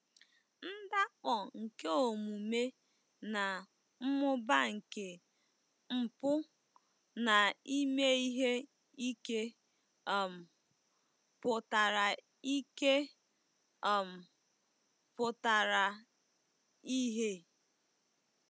Ndakpọ nke omume na mmụba nke mpụ na ime ihe ike um pụtara ike um pụtara ìhè.